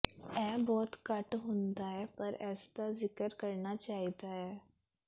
ਇਹ ਬਹੁਤ ਘੱਟ ਹੁੰਦਾ ਹੈ ਪਰ ਇਸਦਾ ਜ਼ਿਕਰ ਕਰਨਾ ਚਾਹੀਦਾ ਹੈ